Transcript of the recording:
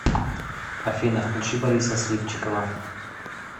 афина включи бориса сливчикова